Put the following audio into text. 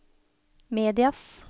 medias